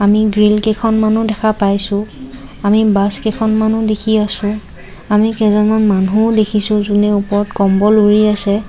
আমি গ্ৰিল কেইখনমানও দেখা পাইছোঁ আমি বাছ কেইখনমানও দেখি আছোঁ আমি কেইজনমান মানুহো দেখিছোঁ জোনে ওপৰত কম্বল উৰি আছে।